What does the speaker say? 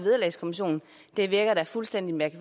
det